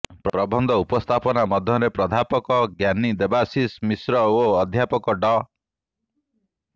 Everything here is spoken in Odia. ପ୍ରବନ୍ଧ ଉପସ୍ଥାପନା ମଧ୍ୟରେ ପ୍ରାଧ୍ୟାପକ ଜ୍ଞାନୀ ଦେବାଶିଷ ମିଶ୍ର ଓ ଅଧ୍ୟାପକ ଡ଼